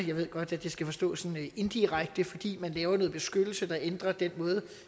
jeg ved godt at det skal forstås sådan indirekte fordi man laver noget beskyttelse der ændrer den måde